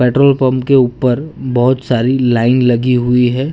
Petrol pump के ऊपर बहोत सारी लाइन लगी हुई है।